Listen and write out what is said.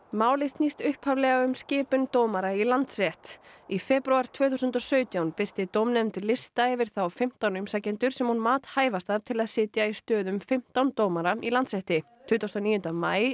málið snýst upphaflega um skipun dómara í Landsrétt í febrúar tvö þúsund og sautján birti dómnefnd lista yfir þá fimmtán umsækjendur sem hún mat hæfasta til að sitja í stöðum fimmtán dómara í Landsrétti tuttugasta og níunda maí